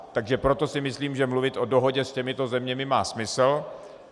Takže proto si myslím, že mluvit o dohodě s těmito zeměmi má smysl.